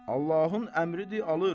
Allahın əmridir, alır.